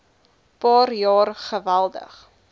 paar jaar geweldig